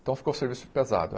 Então ficou o serviço pesado.